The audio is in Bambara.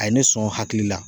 A ye ne sɔn hakili la